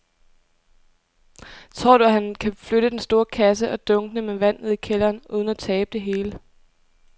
Tror du, at han kan flytte den store kasse og dunkene med vand ned i kælderen uden at tabe det hele?